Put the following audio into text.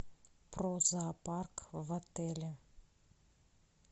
про зоопарк в отеле